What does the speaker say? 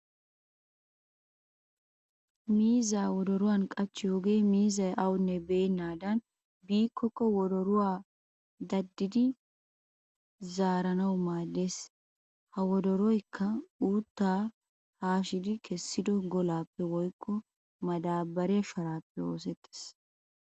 Miizzaa wodoruwan qachchiyogee miizzay awanne beennaadan biikkokka wodoruwa dadidi zaaranawu maaddes. Ha wodoroyikka uuttaa haashidi kessido golaappe woykko madaabbariya sharaappe oosettes.